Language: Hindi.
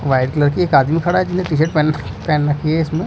व्हाइट कलर की एक आदमी खड़ा है जिन्हें टी शर्ट पहन पहेन रखी है इसमें--